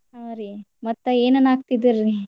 ಹಾ ರಿ ಮತ್ತ ಏನ ಅನ್ನಾಕತ್ತಿದ್ರಿ?